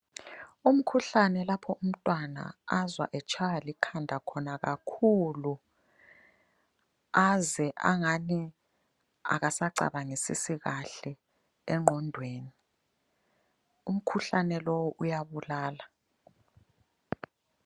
Umkhuhlane lapho umtwana azwa etshaywa likhanda khona kakhulu, aze angani akasacabangisisi kahle engqondweni. Umkhuhlane lowu uyabulala.